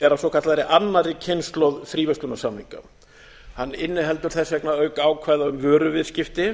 er af svokallaðri annarri kynslóð fríverslunarsamninga að inniheldur þess vegna auk ákvæða um vöruviðskipti